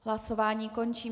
Hlasování končím.